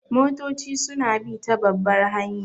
Motoci su na bi ta babbar hanya